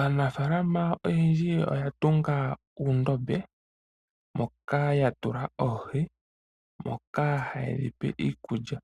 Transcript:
Aanafaalama oyendji oya tunga uundombe moka ya tula oohi, moka haye dhi pe iikulya,